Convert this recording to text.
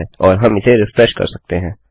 000549 000548 और हम इसे रिफ्रेश कर सकते हैं